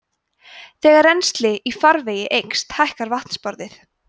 þegar rennsli í farvegi eykst hækkar vatnsborðið